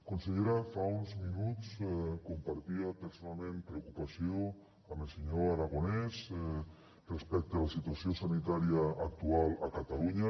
consellera fa uns minuts compartia personalment preocupació amb el senyor aragonés respecte a la situació sanitària actual a catalunya